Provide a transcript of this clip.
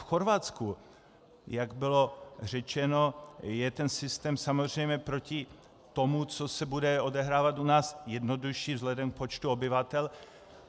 V Chorvatsku, jak bylo řečeno, je ten systém samozřejmě proti tomu, co se bude odehrávat u nás, jednodušší vzhledem k počtu obyvatel.